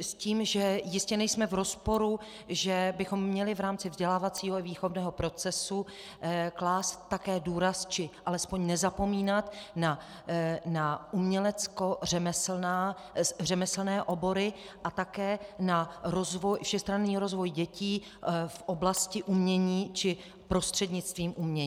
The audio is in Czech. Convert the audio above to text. s tím, že jistě nejsme v rozporu, že bychom měli v rámci vzdělávacího i výchovného procesu klást také důraz či alespoň nezapomínat na uměleckořemeslné obory a také na všestranný rozvoj dětí v oblasti umění či prostřednictvím umění.